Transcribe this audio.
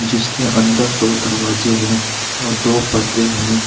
जिसके अंदर तो दरवाजे हैं और दो पर्दे हैं।